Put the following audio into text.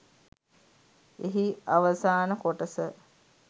එහි අවසාන කොටස